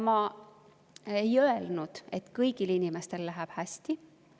Ma ei ole öelnud, et kõigil inimestel läheb hästi.